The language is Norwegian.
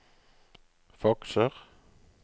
fakser